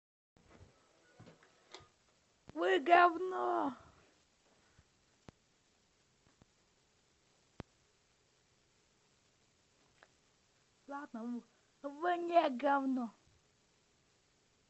вы говно ладно вы не говно